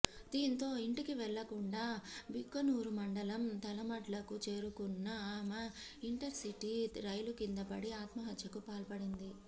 దీంతో ఇంటికివెళ్లకుండా భిక్కనూరు మండలం తలమడ్లకు చేరుకున్న ఆమె ఇంటర్సిటీ రైలుకింద పడి ఆత్మహత్యకు పాల్పడింది